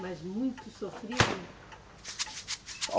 Mas muito sofrido?